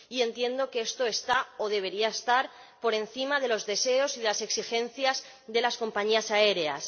Y entiendo que esto está, o debería estar, por encima de los deseos y de las exigencias de las compañías aéreas.